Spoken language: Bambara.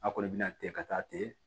A kɔni bɛ na ten ka taa ten